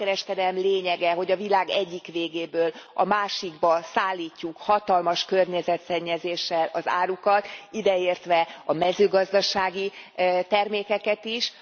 A szabad kereskedelem lényege, hogy a világ egyik végéből a másikba szállítjuk hatalmas környezetszennyezéssel az árukat, ideértve a mezőgazdasági termékeket is.